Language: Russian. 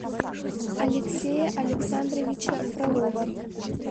алексея александровича фролова